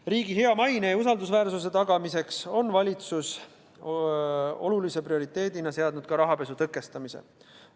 Riigi hea maine ja usaldusväärsuse tagamiseks on valitsus seadnud oluliseks prioriteediks ka rahapesu tõkestamise.